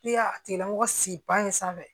Ne y'a tigilamɔgɔ si sanfɛ